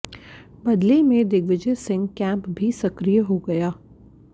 बदले में दिग्विजय सिंह केंप भी सक्रिय हो गया